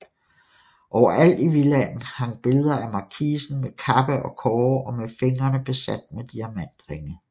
Overalt i villaen hang billeder af markisen med kappe og kårde og med fingrene besat med diamantringe